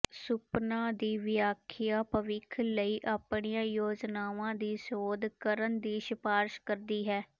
ਸੁਪਨਾ ਦੀ ਵਿਆਖਿਆ ਭਵਿੱਖ ਲਈ ਆਪਣੀਆਂ ਯੋਜਨਾਵਾਂ ਦੀ ਸੋਧ ਕਰਨ ਦੀ ਸਿਫਾਰਸ਼ ਕਰਦੀ ਹੈ